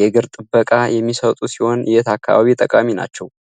የእግር ጥበቃ የሚሰጡ ሲሆን፣ የት አካባቢ ጠቃሚ ናቸው?